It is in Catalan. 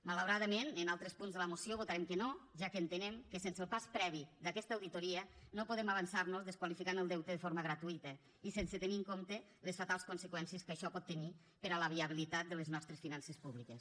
malauradament en altres punts de la moció votarem que no ja que entenem que sense el pas previ d’aquesta auditoria no podem avançar nos i desqualificar el deute de forma gratuïta sense tenir en compte les fatals conseqüències que això pot tenir per a la viabilitat de les nostres finances públiques